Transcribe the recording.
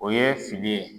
O ye fili ye